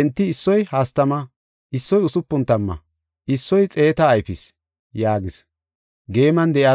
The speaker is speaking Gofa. Enti issoy hastama, issoy usupun tamma issoy xeeta ayfis” yaagis.